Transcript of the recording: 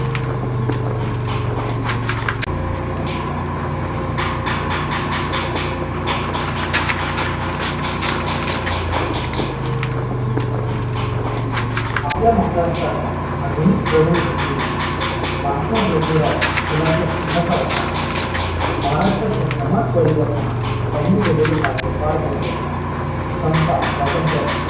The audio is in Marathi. आपल्या महाराष्ट्राच्या आधुनिक जडणघडणीमध्ये महात्मा जोतीराव फुलांचा सिंहाचा वाटा आहे महाराष्ट्राच्या समाज परिवर्तनात त्यांनी केलेले कार्य फार मोठे आहे समता स्वातंत्र्य